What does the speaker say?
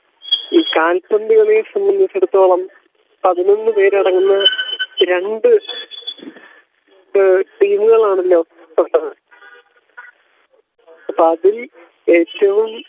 ഈ കാൽപ്പന്ത് കളിയെ സാംബന്ധിച്ചിടത്തോളം പതിനൊന്നു പേരടങ്ങുന്ന രണ്ടു ടീമുകളാണല്ലോ അപ്പോ അതിൽ ഏറ്റവും